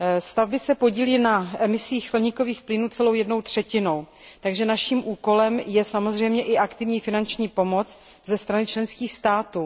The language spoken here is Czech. Stavby se podílí na emisích skleníkových plynů celou jednou třetinou, takže naším úkolem je samozřejmě i aktivní finanční pomoc ze strany členských států.